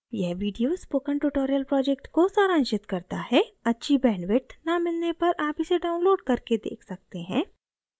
यह video spoken tutorial project को सारांशित करता है अच्छी bandwidth न मिलने पर आप इसे download करके देख सकते हैं